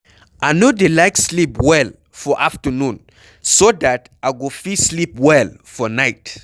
I no dey like sleep well for afternoon so dat I go fit sleep well for night.